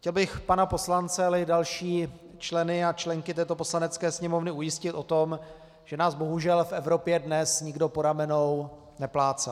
Chtěl bych pana poslance, ale i další členy a členky této Poslanecké sněmovny ujistit o tom, že nás bohužel v Evropě dnes nikdo po ramenou neplácá.